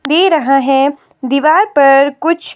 दे रहा है दीवार पर कुछ--